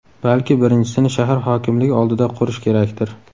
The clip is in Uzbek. Balki birinchisini shahar hokimligi oldida qurish kerakdir?